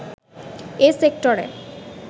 এ সেক্টরে